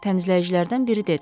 Təmizləyicilərdən biri dedi.